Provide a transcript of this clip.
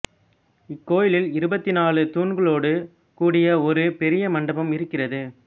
இக் கோயிலில் இருபத்து நாலு தூண்களோடு கூடிய ஒரு பெரிய மண்டபம் இருக்கிறது